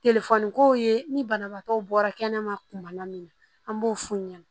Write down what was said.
kow ye ni banabaatɔw bɔra kɛnɛma kuma na min na an b'o f'u ɲɛna